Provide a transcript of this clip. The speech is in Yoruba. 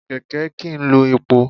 Kẹ̀kẹ́ kìí lo epo.